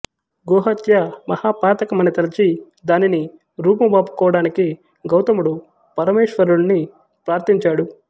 గోహత్య మహాపాతకమని తలచి దానిని రూపుమాపుకోడానికి గౌతముడు పరమేశ్వరుడిని ప్రార్ధించాడు